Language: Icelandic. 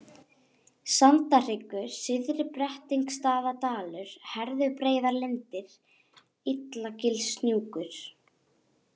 Sandahryggur, Syðri-Brettingsstaðadalur, Herðubreiðarlindir, Illagilshnjúkur